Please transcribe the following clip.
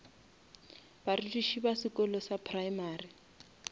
barutiši ba sekolo sa primary